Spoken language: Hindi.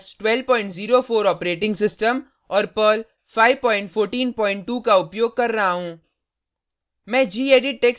मैं उबंटु लिनक्स 1204 ऑपरेटिंग सिस्टम और पर्ल 5142 का उपयोग कर रहा हूँ